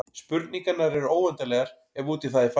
Spurningarnar eru óendanlegar ef út í það er farið.